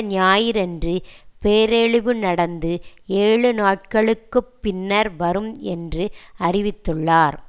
ஞாயிறன்று பேரழிவு நடந்து ஏழு நாட்களுக்கு பின்னர் வரும் என்று அறிவித்துள்ளார்